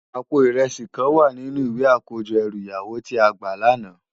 Àpó irèsi kán wá ninú iwé àkójò èrú iyàwó ti á gbá làná